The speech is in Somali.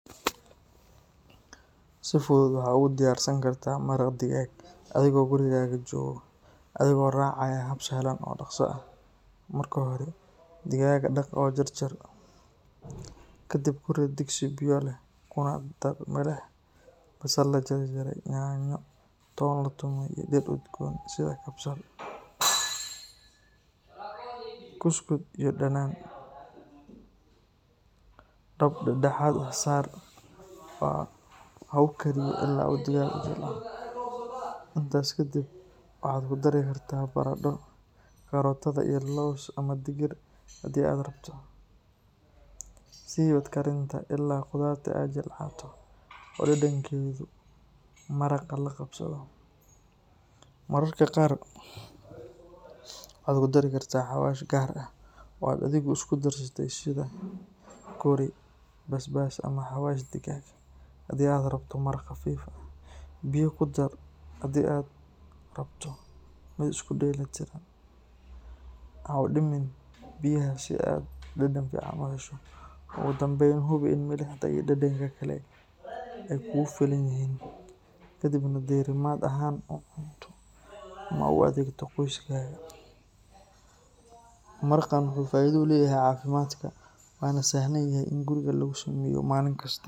Si fudud waxaad u gudiyarsan kartaa maraq digaag adigoo guriga jooga adigoo raacaya hab sahlan oo dhaqso ah. Marka hore digaagga dhaq oo jarjar, kadib ku rid digsi biyo leh kuna dar milix, basal la jarjaray, yaanyo, toon la tumay iyo dhir udgoon sida kabsar, kuskud iyo dhanaan. Dab dhexdhexaad ah saar oo ha u kariyo ilaa uu digaaggu jilco. Intaas kadib waxaad ku dari kartaa baradho, karootada iyo lows ama digir haddii aad rabto. Sii wad karinta ilaa khudaartu ay jilcato oo dhadhankeedu maraqa la qabsado. Mararka qaar waxaad ku dari kartaa xawaash gaar ah oo aad adigu isku darsatay sida curry, basbaas ama xawaash digaag. Haddii aad rabto maraq khafiif ah, biyo ku dar, haddii aad rabto mid isku dheelitiran, ha u dhimin biyaha si aad dhadhan fiican u hesho. Ugu dambayn, hubi in milixda iyo dhadhanka kale ay kugu filan yihiin, kadibna diirimaad ahaan u cunto ama u adeego qoyskaaga. Maraqan wuxuu faa’iido u leeyahay caafimaadka waana sahlan yahay in guriga lagu sameeyo maalin kasta.